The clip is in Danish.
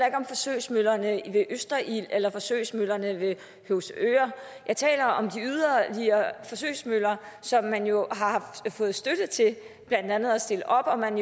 ikke om forsøgsmøllerne ved østerild eller forsøgsmøllerne ved høvsøre jeg taler om de forsøgsmøller som man jo har fået støtte til blandt andet at stille op og man